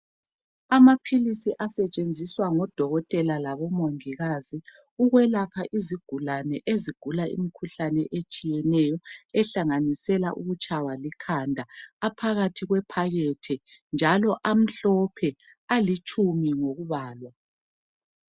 Amaphilisi asetshenziswa ngolodokotela labomongikazi. Ukwelapha izigulane, ezigula imikhuhlane, etshiyeneyo. Ehlanganisela ukutshaywa likhanda. Aphakathi kwephakethe, njalo amhlophe.. Alitshumi ngokubalwa